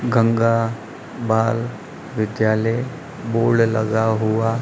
गंगा बाल विद्यालय बोर्ड लगा हुआ--